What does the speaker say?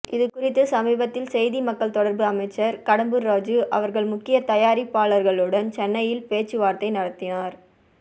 இதுகுறித்து சமீபத்தில் செய்தி மக்கள் தொடர்பு அமைச்சர் கடம்பூர் ராஜு அவர்கள் முக்கிய தயாரிப்பாளர்களுடன் சென்னையில் பேச்சுவார்த்தை நடத்தினார்